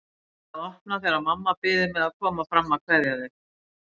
Neita að opna þegar mamma biður mig að koma fram að kveðja þau.